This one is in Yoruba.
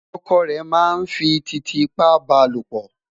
ọkọ rè má n fí titiipa balopo